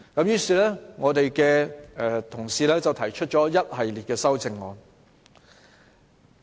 於是，我們的同事提出了一系列修正案。